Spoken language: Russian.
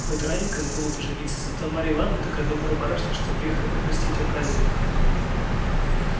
хоть раненько задумал ты жениться да зато марья ивановна такая добрая барышня что грех и пропустить оказию